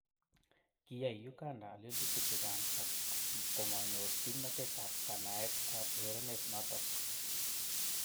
Kiyay Uganda lelutik chechang ak komanyor kimnatet ab kanaet ab urerenet noto.